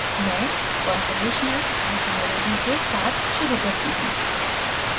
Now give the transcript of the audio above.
मैं conformational isomerism के साथ शुरू करती हूँ